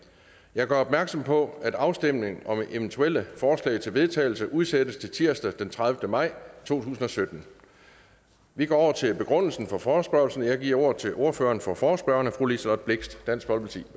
jeg gør opmærksom på at afstemning om eventuelle forslag til vedtagelse udsættes til tirsdag den trettende maj to tusind og sytten vi går over til begrundelsen for forespørgslen jeg giver ordet til ordføreren for forespørgerne fru liselott blixt dansk folkeparti